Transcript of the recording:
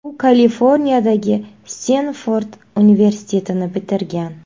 U Kaliforniyadagi Stenford universitetini bitirgan.